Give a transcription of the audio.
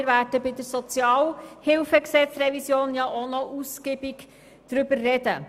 Zudem werden wir im Rahmen der SHG-Revision noch ausführlich darüber sprechen.